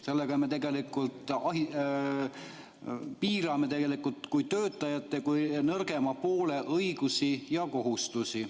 Sellega me tegelikult piirame töötajate kui nõrgema poole õigusi ja kohustusi.